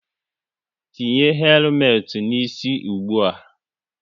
Tinye helumet n'isi ụgbụa!